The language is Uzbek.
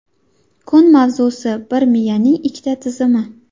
Kun mavzusi: - Bir miyaning ikkita tizimi.